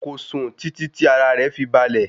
Kò sùn títí tí ara rẹ̀ fi balẹ̀.